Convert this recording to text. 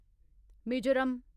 Mizoram